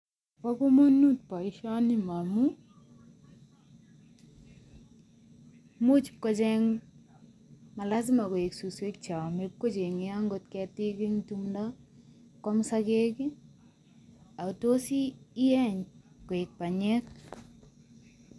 Bo komonut boisioni momu, much ibkocheng malasima koek suswek cheame, ibkocheng'ei angot ketik eng tumdo, kwam sogek, atos ieny koek panyek.